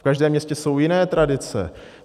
V každém městě jsou jiné tradice.